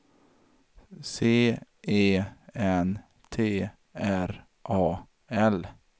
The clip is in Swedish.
C E N T R A L